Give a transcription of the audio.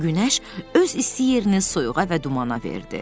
Günəş öz isti yerini soyuğa və dumana verdi.